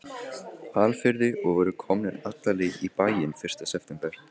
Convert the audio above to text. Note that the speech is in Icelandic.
Hvalfirði og voru komnir alla leið í bæinn fyrsta september.